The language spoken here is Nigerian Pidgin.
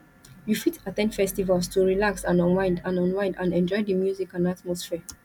you fit at ten d festivals to relax and unwind and unwind and enjoy di music and atmosphere